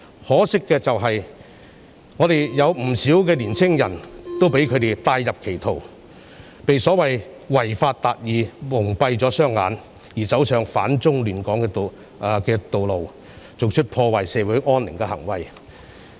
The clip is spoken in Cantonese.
可惜，香港有不少年輕人被他們帶入歧途，被所謂違法達義蒙蔽雙眼，走上反中亂港的道路，做出破壞社會安寧的行為。